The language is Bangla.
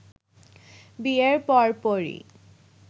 বিয়ের পর পরই